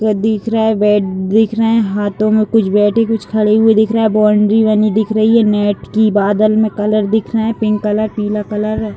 वो दिख रहा है बैट दिख रहे हाथो में कुछ बैठे कुछ खड़े हुए दिख रहे है बाउंड्री बनी दिख रही है नेट की बादल में कलर दिख रहे है पिंक कलर पीला कलर --